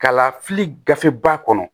Kalafili gafeba kɔnɔ